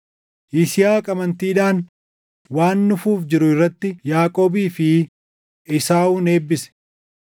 Yisihaaq amantiidhaan waan dhufuuf jiru irratti Yaaqoobii fi Esaawun eebbise.